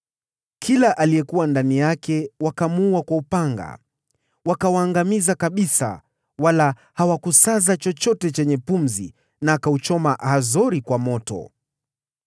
Kila aliyekuwa ndani yake wakamuua kwa upanga. Wakawaangamiza kabisa, wala hawakusaza chochote chenye pumzi na akauchoma Hazori kwenyewe kwa moto.